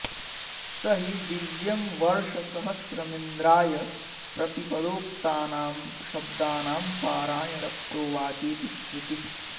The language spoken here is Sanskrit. स हि दिव्यं वर्षसहस्रमिन्द्राय प्रतिपदोक्तानां शब्दानां पारायण प्रोवाचेति श्रुतिः